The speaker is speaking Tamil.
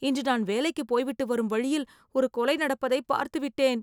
இன்று நான் வேலைக்கு போய்விட்டு வரும் வழியில், ஒரு கொலை நடப்பதை பார்த்துவிட்டேன்..